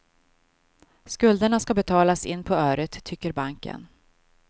Skulderna ska betalas in på öret, tycker banken.